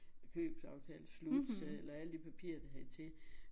Købsaftale og slutsalg og alle de papirer der hørte til